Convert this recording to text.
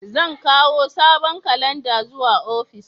Zan kawo sabon kalanda zuwa ofis.